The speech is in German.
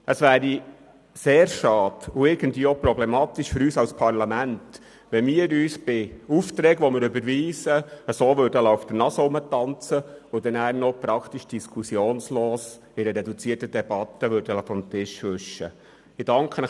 Es wäre sehr schade und auch problematisch für uns als Parlament, wenn wir bei überwiesenen Aufträgen auf diese Art mit uns umgehen lassen und schliesslich das Anliegen in einer reduzierten Debatte praktisch diskussionslos erledigen würden.